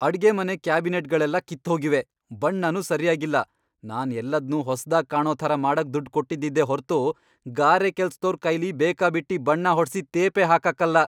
ಅಡ್ಗೆಮನೆ ಕ್ಯಾಬಿನೆಟ್ಗಳೆಲ್ಲ ಕಿತ್ತ್ ಹೋಗಿವೆ, ಬಣ್ಣನೂ ಸರ್ಯಾಗಿಲ್ಲ. ನಾನ್ ಎಲ್ಲದ್ನೂ ಹೊಸ್ದಾಗ್ ಕಾಣೋ ಥರ ಮಾಡಕ್ ದುಡ್ಡ್ ಕೊಟ್ಟಿದ್ದಿದ್ದೇ ಹೊರ್ತು ಗಾರೆ ಕೆಲ್ಸ್ದೋರ್ ಕೈಲಿ ಬೇಕಾಬಿಟ್ಟಿ ಬಣ್ಣ ಹೊಡ್ಸಿ ತೇಪೆ ಹಾಕಕ್ಕಲ್ಲ.